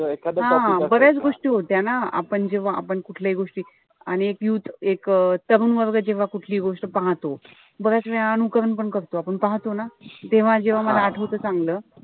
हा बऱ्याच गोष्टी होत्या ना आपण जेव्हा आपण कुठल्याही गोष्टी आणि एक तरुण वर्ग जेव्हा कुठलीही गोष्ट पाहतो. बऱ्याचवेळा अनुकरण पण करतो. आपण पाहतो ना. तेव्हा जेव्हा मला आठवत चांगलं.